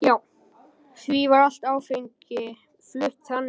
Því var allt áfengi flutt þannig.